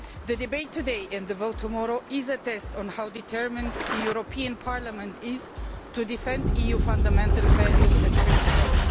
The debate today and the vote tomorrow is a test of how determined Parliament is to defend EU fundamental values and principles.